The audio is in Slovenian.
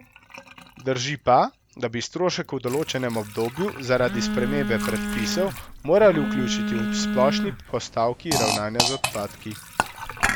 Drži pa, da bi strošek v določenem obdobju zaradi spremembe predpisov morali vključiti v splošni postavki ravnanja z odpadki.